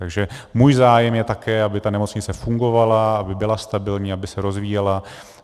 Takže můj zájem je také, aby ta nemocnice fungovala, aby byla stabilní, aby se rozvíjela.